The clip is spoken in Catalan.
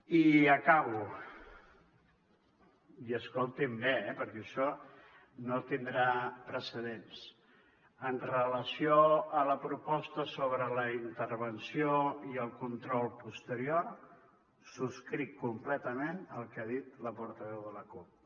i acabo i escoltin bé perquè això no tindrà precedents en relació amb la proposta sobre la intervenció i el control posterior subscric completament el que ha dit la portaveu de la cup